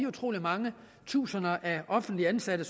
utrolig mange tusinder offentligt ansatte